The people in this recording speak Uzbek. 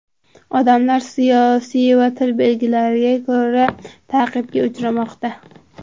Odamlar siyosiy va til belgilariga ko‘ra ta’qibga uchramoqda”.